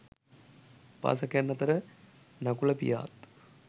උපාසකයන් අතර නකුල පියාත්